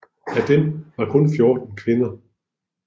Af dem var kun 14 kvinder